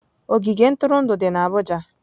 Ogige ntụrụndụ dị na abuja.